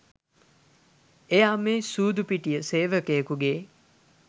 එයා මේ සූදු පිටිය සේවකයකුගේ